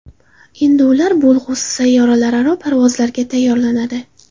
Endi ular bo‘lg‘usi sayyoralararo parvozlarga tayyorlanadi.